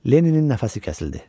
Lenninin nəfəsi kəsildi.